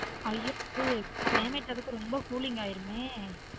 ஐயோ வந்து climate அதுக்கும் ரொம்ப cooling ஆயிருமே